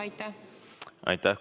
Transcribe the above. Aitäh!